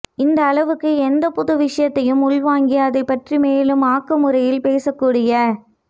இந்த அளவுக்கு எந்த புது விஷயத்தையும் உள்வாங்கி அதைப்பற்றி மேலும் ஆக்கமுறையில் பேசக்கூடிய